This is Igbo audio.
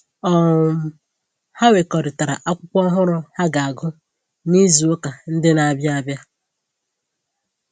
um Ha wekọrịtara akwụkwọ ọhụrụ ha ga-agụ n'izu ụka ndị na-abịa abịa